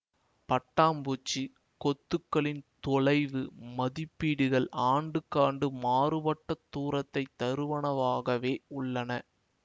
பட்டாம்பூச்சி கொத்துகளின் தொலைவு மதிப்பீடுகள் ஆண்டுக்காண்டு மாறுபட்ட தூரத்தை தருவனவாகவே உள்ளன